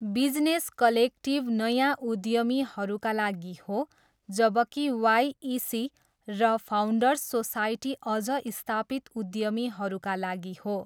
Business collective नयाँ उद्यमीहरूका लागि हो जबकि वाइइसी र फाउन्डर्स सोसाइटी अझ स्थापित उद्यमीहरूका लागि हो।